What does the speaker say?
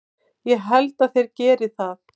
Ég held að þeir geri það!